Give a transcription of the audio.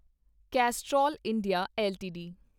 cholesterol India LTD